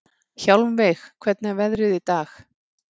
Hjálmveig, hvernig er veðrið í dag?